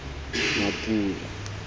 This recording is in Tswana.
mapula